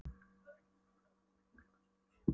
Finnur alveg hvað hún er mikill myglusveppur í augum hans.